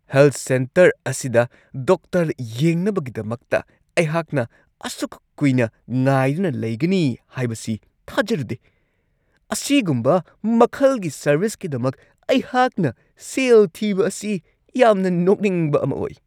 Health centre ꯑꯁꯤꯗ doctor ꯌꯦꯡꯅꯕꯒꯤꯗꯃꯛꯇ ꯑꯩꯍꯥꯛꯅ ꯑꯁꯨꯛ ꯀꯨꯏꯅ ꯉꯥꯏꯗꯨꯅ ꯂꯩꯒꯅꯤ ꯍꯥꯏꯕꯁꯤ ꯊꯥꯖꯔꯨꯗꯦ ! ꯑꯁꯤꯒꯨꯝꯕ ꯃꯈꯜꯒꯤ ꯁꯔꯕꯤꯁꯀꯤꯗꯃꯛ ꯑꯩꯍꯥꯛꯅ ꯁꯦꯜ ꯊꯤꯕ ꯑꯁꯤ ꯌꯥꯝꯅ ꯅꯣꯛꯅꯤꯡꯕ ꯑꯃ ꯑꯣꯏ ꯫"